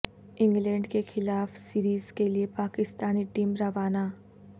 England کے خلاف series کے لیے پاکستانی ٹیم روانہ